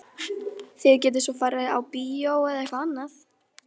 Þið getið svo farið á bíó eða eitthvað annað.